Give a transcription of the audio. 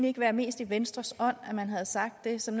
ikke være mest i venstres ånd at man havde sagt det som